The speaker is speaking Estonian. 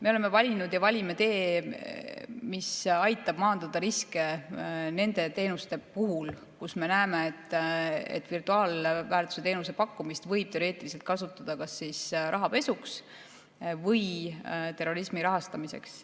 Me oleme valinud ja valime tee, mis aitab maandada riske nende teenuste puhul, kus me näeme, et virtuaalväärtuse teenuse pakkumist võib teoreetiliselt kasutada kas rahapesuks või terrorismi rahastamiseks.